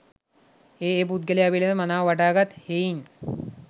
ඒ ඒ පුද්ගලයා පිළිබඳ මනාව වටහා ගත් හෙයින්